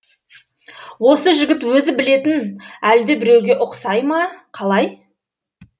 осы жігіт өзі білетін әлдебіреуге ұқсай ма қалай